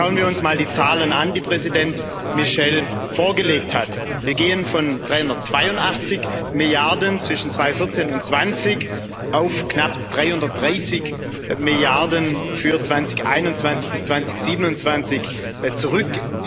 Schauen wir uns mal die Zahlen an, die Präsident Michel vorgelegt hat Wir gehen von 382 Milliarden zwischen 2014 und 2020 auf knapp 330 Milliarden für 2021 bis 2027 zurück.